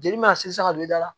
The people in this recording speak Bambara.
Jeli ma se sa ka don i da la